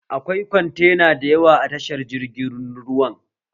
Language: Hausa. Akwai kwantena da yawa a tashar jirgin ruwa